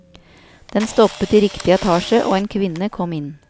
Den stoppet i riktig etasje og en kvinne kom inn.